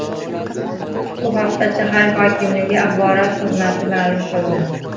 Bu haqda shahar hokimligi axborot xizmati ma’lum qildi .